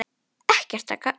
Ekkert að gagni.